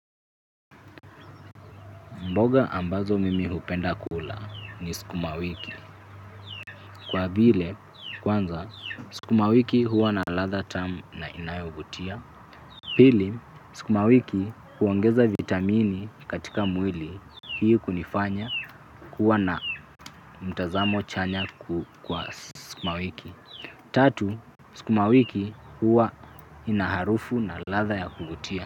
Mboga ambazo mimi hupenda kula ni sukuma wiki. Kwa vile, kwanza, sukuma wiki huwa na ladha tamu na inayovutia. Pili, sukuma wiki huongeza vitamini katika mwili. Hii kunifanya kuwa na mtazamo chanya kwa sikuma wiki. Tatu, sikuma wiki huwa inaharufu na latha ya kugutia.